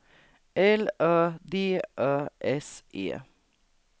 L Ö D Ö S E